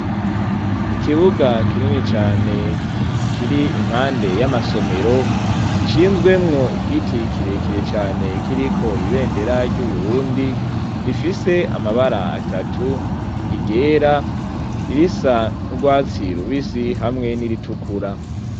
Ikiwuga kirini cane kirimwo ibivu vyinshi nutwatsidukeyi ryishure ry'intango ryubatswe neza, kandi rigeretse hirya n'ino hasize amabara yera, kandi ryari ryubakishijwe matafari ahiye be nisima.